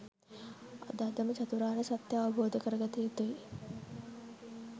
අද අදම චතුරාර්ය සත්‍යය අවබෝධ කරගත යුතුයි